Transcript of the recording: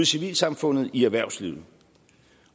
civilsamfundet i erhvervslivet